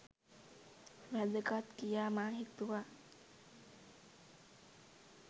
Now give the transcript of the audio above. වැදගත් කියා මා සිතුවා.